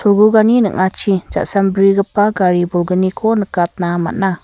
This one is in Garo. cholgugani ning·achi ja·sambrigipa gari bolgniko nikatna man·a.